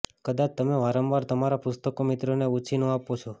કદાચ તમે વારંવાર તમારા પુસ્તકો મિત્રોને ઉછીનું આપો છો